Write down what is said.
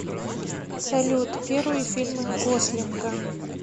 салют первые фильмы гослинга